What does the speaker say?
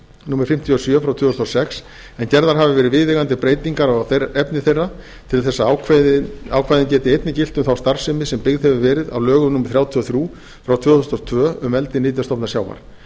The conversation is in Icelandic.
númer fimmtíu og sjö tvö þúsund og sex en gerðar hafa verið viðeigandi breytingar á efni þeirra til þess að ákvæðin geti einnig gilt um þá starfsemi sem byggð hefur verið á lögum númer þrjátíu og þrjú tvö þúsund og tvö um eldi nytjastofna sjávar